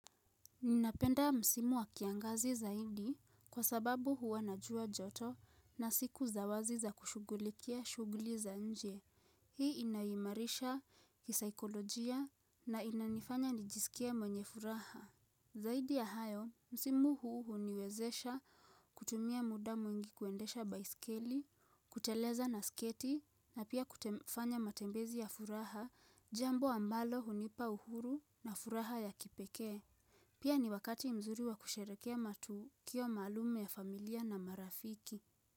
Ninapenda msimu wa kiangazi zaidi, kwa sababu huwa na jua joto na siku za wazi za kushugulikia shuguli za nje. Hii inaniimarisha kisaikolojia na inanifanya nijisikie mwenye furaha. Zaidi ya hayo, msimu huu huniwezesha kutumia muda mwingi kuendesha baisikeli, kuteleza na sketi na pia kufanya matembezi ya furaha jambo ambalo hunipa uhuru na furaha ya kipekee. Pia ni wakati mzuri wa kusherehekea matukio maalum ya familia na marafiki.